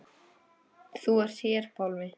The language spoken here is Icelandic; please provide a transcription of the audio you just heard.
Þú hér, Pálmi.